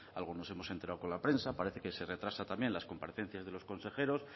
algo nos hemos enterado con la prensa parece que se retrasa también las comparecencias de los consejeros